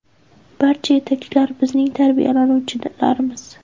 Barcha yetakchilar bizning tarbiyalanuvchilarimiz.